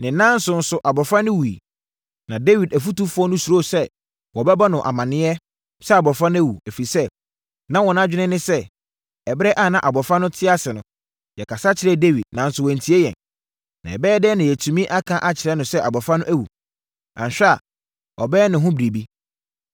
Ne nnanson so, abɔfra no wuiɛ. Na Dawid afotufoɔ no suro sɛ wɔbɛbɔ no amaneɛ sɛ abɔfra no awu, ɛfiri sɛ, na wɔn adwene ne sɛ, “Ɛberɛ a na abɔfra no te ase no, yɛkasa kyerɛɛ Dawid, nanso wantie yɛn. Na ɛbɛyɛ dɛn na yɛatumi aka akyerɛ no sɛ abɔfra no awu? Anhwɛ a, ɔbɛyɛ ne ho biribi.”